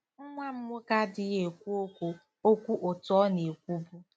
“Nwa m nwoke adịghị ekwu okwu okwu otú ọ na-ekwubu.